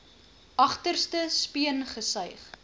agterste speen gesuig